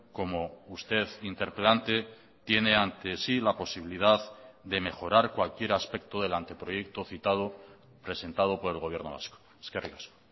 como usted interpelante tiene ante sí la posibilidad de mejorar cualquier aspecto del anteproyecto citado presentado por el gobierno vasco eskerrik asko